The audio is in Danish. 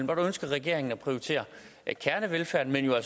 og der ønsker regeringen at prioritere kernevelfærden men jo